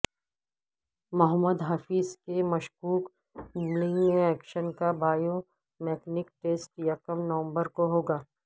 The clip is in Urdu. محمد حفیظ کے مشکوک بولنگ ایکشن کا بائیو مکنیک ٹیسٹ یکم نومبر کو ہو گا